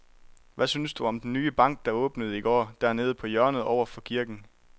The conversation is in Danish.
Hvad synes du om den nye bank, der åbnede i går dernede på hjørnet over for kirken?